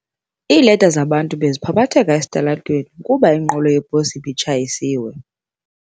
Iileta zabantu beziphaphatheka esitalatweni kuba inqwelo yeposi ibitshayisiwe.